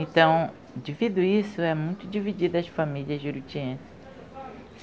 Então, devido a isso, é muito dividida a família jurutiense.